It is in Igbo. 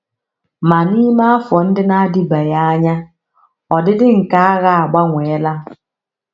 Ma n’ime afọ ndị na - adịbeghị anya, ọdịdị nke agha agbanweela.